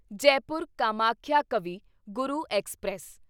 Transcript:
Jaipur Kamakhya Kavi Guru express